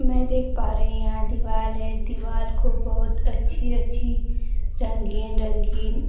मैं ये देख पा रही यहां दीवाल है दीवाल को बहुत अच्छी अच्छी रंगीन रंगीन